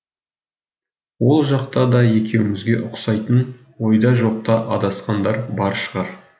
ол жақта да екеумізге ұқсайтын ойда жоқта адасқандар бар шығар